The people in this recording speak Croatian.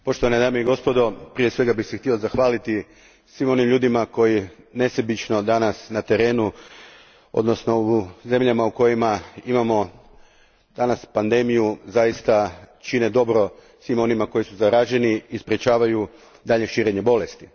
Poštovani dame i gospodo, prije svega bih se htio zahvaliti svim onim ljudima koji nesebično danas na terenu, odnosno u zemljama u kojima imamo danas pandemiju, zaista čine dobro onima koji su zaraženi i sprječavaju daljnje širenje bolesti.